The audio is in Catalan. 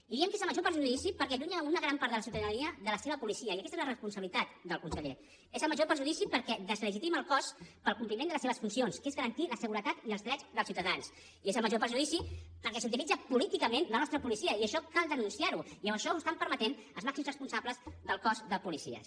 i diem que és el major perjudici perquè allunya una gran part de la ciutadania de la seva policia i aquesta és la responsabilitat del conseller és el major perjudici perquè deslegitima el cos per al compliment de les seves funcions que són garantir la seguretat i els drets dels ciutadans i és el major perjudici perquè s’utilitza políticament la nostra policia i això cal denunciar ho i això ho estan permetent els màxims responsables del cos de policies